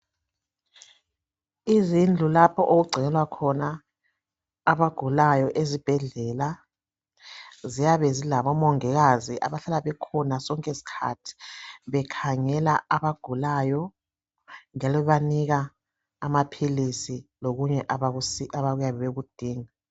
Izindlu lapho okungcinelwa khona abagulayo ezibhedlela ziyabe zilabomongikazi abahlala bekhona sonke isikhathi bekhangela abagulayo njalo bebanika amaphilisi lokunye abayabe bekudinga.